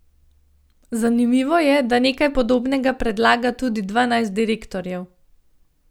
Zanimivo je, da nekaj podobnega predlaga tudi dvanajst direktorjev.